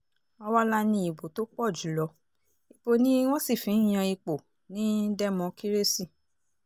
àwa la ní ìbò tó pọ̀ jù lọ ibo ni wọ́n sì fi ń yan ipò ní dẹ́mọkírésì